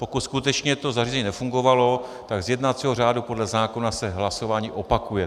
Pokud skutečně to zařízení nefungovalo, tak z jednacího řádu podle zákona se hlasování opakuje.